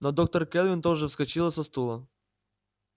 но доктор кэлвин тоже вскочила со стула